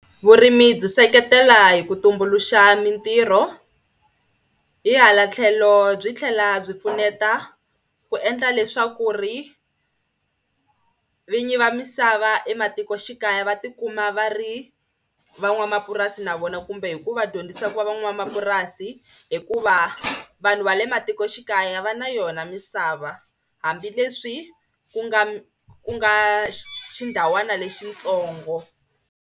Vurimi byi seketela hi ku tumbuluxa mitirho hi hala tlhelo byi tlhela byi pfuneta ku endla leswaku ri vinyi va misava ematikoxikaya va tikuma va ri van'wamapurasi na vona kumbe hi ku va dyondzisa ku van'wamapurasi hikuva vanhu va le matikoxikaya va na yona misava hambileswi ku nga mi ku nga xindhawana lexitsongo.